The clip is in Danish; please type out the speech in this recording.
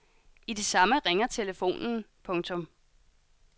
I det samme ringer telefonen. punktum